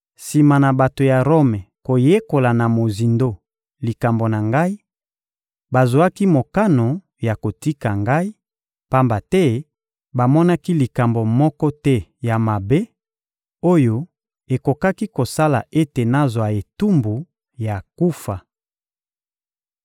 Sima na bato ya Rome koyekola na mozindo likambo na ngai, bazwaki mokano ya kotika ngai, pamba te bamonaki likambo moko te ya mabe oyo ekokaki kosala ete nazwa etumbu ya kufa.